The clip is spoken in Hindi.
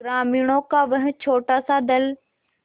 ग्रामीणों का वह छोटासा दल